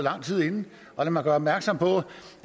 lang tid forinden og lad mig gøre opmærksom på